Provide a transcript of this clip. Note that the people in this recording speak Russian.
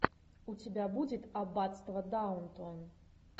у тебя будет аббатство даунтон